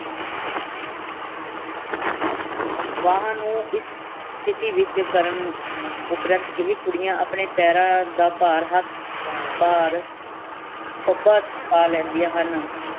ਵਾਹਾਂ ਨੂ ਇਸ ਸਥਿਤੀ ਵਿਚ ਕਰਨ ਉਪਰੰਤ ਇਹੀ ਕੁੜੀਆਂ ਅਪਣੇ ਪੈਰਾਂ ਦਾ ਪਾਰ ਹੱਥ ਭਾਰ ਪੱਬਾਂ ਚ ਪਾ ਲੈਂਦੀਆਂ ਹਨ।